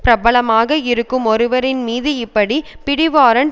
பிரபலமாக இருக்கும் ஒருவர்மீது இப்படி பிடிவாரண்ட்